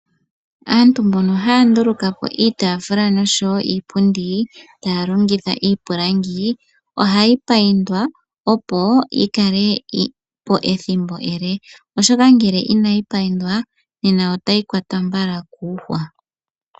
Aantu mbono haya ndulukapo iitafula noshowo iipundi taya longitha iipilangi, ohayi payindwa opo yi kalepo ethimbo ele, oshoka ngele inayi payindwa nena otayi kwatwa mbala kuuhwa.